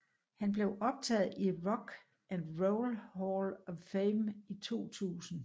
Han blev optaget i Rock and Roll Hall of Fame i 2000